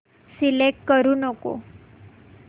select करू नको